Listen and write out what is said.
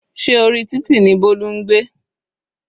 Se orí títì ní Bolu ń gbé?